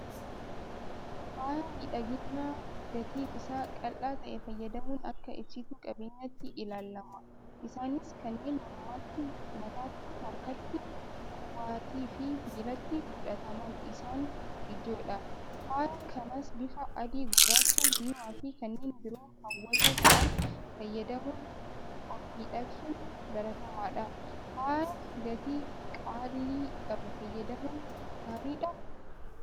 Faaya miidhaginaa gatiin isaa qaala'aa ta'e fayyadamuun akka ibsituu qabeenyaatti ilaalama. Isaanis kanneen Mormatti, Mataatti, Harkatti, Qubattiifi Miilatti godhataman isaan ijoodha. Faaya kanas bifa Adii, Gurraacha, Diimaafi kanneen biroo hawwatoo ta'an fayyadamuun ofmiidhagsuun baratamaadha. Faaya gatii qaalii qabu fayyadamuun gaariidhaa?